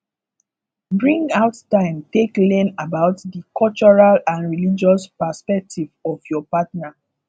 bring out time take learn about di cultural and religious perspective of your partner